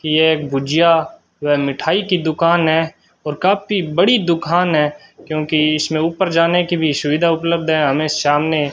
यह गुजिया व मिठाई की दुकान है और काफी बड़ी दुकान है क्योंकि इसमें ऊपर जाने की भी सुविधा उपलब्ध है हमें सामने --